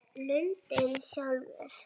Lundinn sjálfur